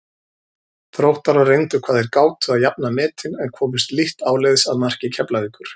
Þróttarar reyndu hvað þeir gátu að jafna metin en komust lítt áleiðis að marki Keflavíkur.